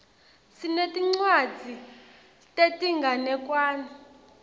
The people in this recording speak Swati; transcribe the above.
sinetincwadzi tetinganekwane